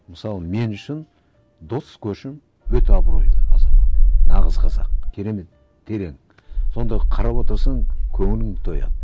мысалы мен үшін дос көшім өте абыройлы азамат нағыз қазақ керемет терең сонда қарап отырсаң көңілің тояды